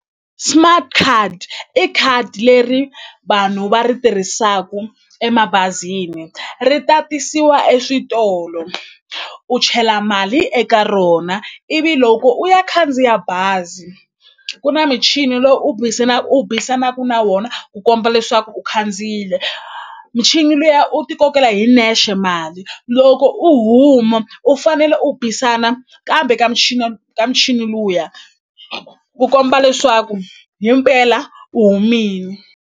Smart card i khadi leri vanhu va ri tirhisaku emabazini ri tatisiwa eswitolo u chela mali eka rona ivi loko u ya khandziya bazi ku na michini lowu u u bisanaku na wona ku komba leswaku u khandziyile michini luya u ti kokela hi nexe mali loko u huma u fanele u bisana kambe ka michini michini luya ku komba leswaku himpela u humini.